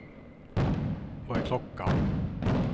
Vad är klockan